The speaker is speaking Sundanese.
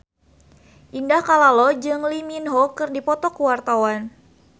Indah Kalalo jeung Lee Min Ho keur dipoto ku wartawan